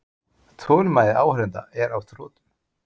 Þolinmæði áheyrenda er á þrotum.